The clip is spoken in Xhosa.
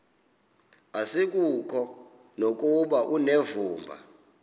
asikuko nokuba unevumba